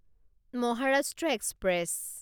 Maharashtra express